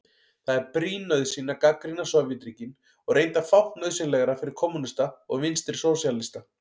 Það er brýn nauðsyn að gagnrýna Sovétríkin og reyndar fátt nauðsynlegra fyrir kommúnista og vinstrisósíalista.